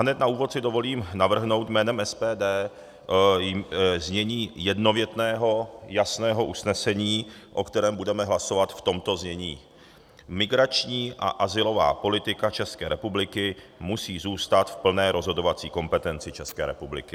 Hned na úvod si dovolím navrhnout jménem SPD znění jednovětného jasného usnesení, o kterém budeme hlasovat, v tomto znění: Migrační a azylová politika České republiky musí zůstat v plné rozhodovací kompetenci České republiky.